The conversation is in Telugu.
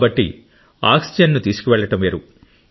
కాబట్టి ఆక్సిజన్ ను తీసుకువెళ్లడం వేరు